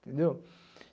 Entendeu?